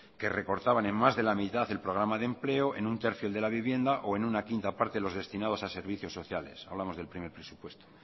que recortaban en más de la mitad el programa de empleo en un tercio el de la vivienda o en una quinta parte los destinados a servicios sociales hablamos del primer presupuesto